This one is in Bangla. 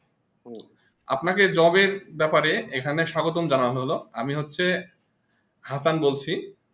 আপনাকে job ব্যাপারে এখানে স্বাগতম জানালো হলো আমি হচ্ছে হাসান বলছি